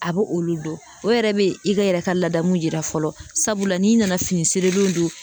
A bɛ olu don o yɛrɛ bɛ i ka e yɛrɛ ka laadamu jira fɔlɔ, sabula n'i nana fini seelenw don